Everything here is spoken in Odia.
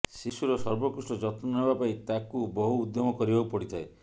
ଶିଶୁର ସର୍ବୋକୃଷ୍ଟ ଯତ୍ନ ନେବା ପାଇଁ ତାକୁ ବହୁ ଉଦ୍ୟମ କରିବାକୁ ପଡ଼ିଥାଏ